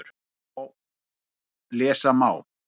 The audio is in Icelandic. Lesa má